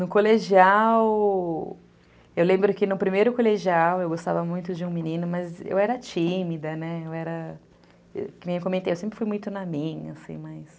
No colegial, eu lembro que no primeiro colegial, eu gostava muito de um menino, mas eu era tímida, né, eu era, como eu comentei, eu sempre fui muito na minha, assim, mas...